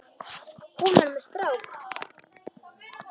Hún var með strák!